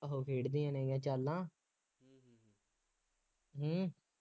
ਉਹ ਖੇਡਦੇ ਨੇ ਉਹ ਚਾਲਾਂ ਹੂੰ